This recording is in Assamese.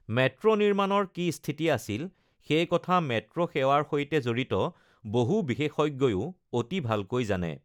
মেট্ৰো নিৰ্মাণৰ কি স্থিতি আছিল সেই কথা মেট্ৰো সেৱাৰ সৈতে জড়িত বহু বিশেষজ্ঞয়ো অতি ভালকৈ জানে!